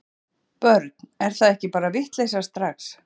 Börn: er það ekki bara vitleysa strax?